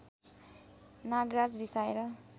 Nagraj रिसाएर